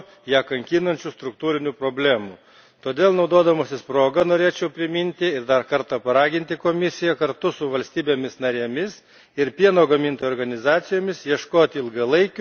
Todėl naudodamasis proga norėčiau priminti ir dar kartą paraginti Komisiją, kartu su valstybėmis narėmis ir pieno gamintojų organizacijomis ieškotų ilgalaikių, subalansuotų pieno krizės sprendimų.